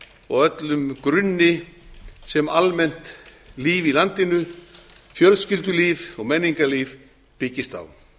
og öllum grunni sem almennt líf í landinu fjölskyldulíf og menningarlíf byggist á